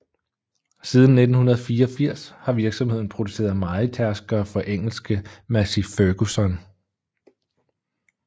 Siden 1984 har virksomheden produceret mejetærskere for engelske Massey Ferguson